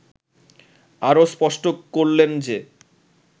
আরও স্পষ্ট করলেন যে